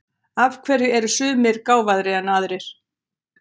Af hverju eru sumir gáfaðri en aðrir?